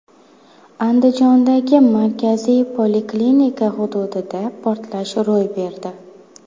Andijondagi markaziy poliklinika hududida portlash ro‘y berdi.